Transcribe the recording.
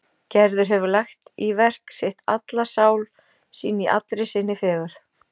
Gerður hefur lagt í verk sitt alla sál sína í allri sinni fegurð.